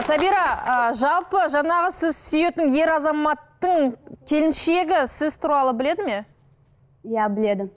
сабира ы жалпы жаңағы сіз сүйетін ер азаматтың келіншегі сіз туралы біледі ме иә біледі